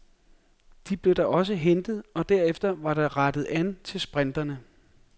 De blev da også hentet, og derefter var der rettet an til sprinterne.